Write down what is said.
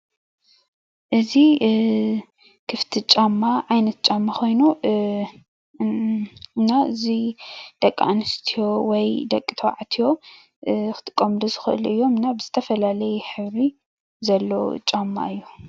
እቲ ክፍቲ ጫማ ዓይነት ጫማ ኮይኑ እና እዚ ደቂ ኣንስትዮ ወይ ደቂ ተባዕትዮ ክጥቀምሉ ዝክእሉ እዩና ዝተፈላለየ ሕብሪ ዘለዎ ጫማ እዩ።